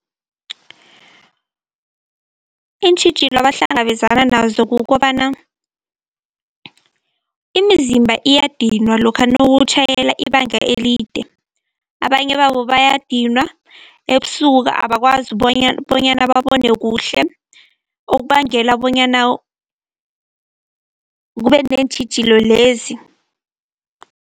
Iintjhijilo abahlangabezana nazo kukobana, imizimba iyadinwa lokha nawutjhayela ibanga elide. Abanye babo bayadinwa, ebusuku abakwazi bonyana babone kuhle, okubangela bonyana kube neentjhijilo lezi.